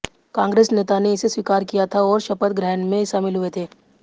कांग्रेस नेता ने इसे स्वीकार किया था और शपथ ग्रहण में शामिल हुए थे